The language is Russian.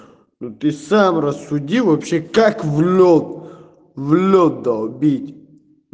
ты сам рассуди вообще как в лёд в лёд долбить